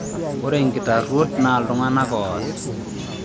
Ore inkitarruot naaa iltung'gana ooas.